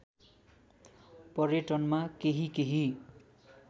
पर्यटनमा केही केही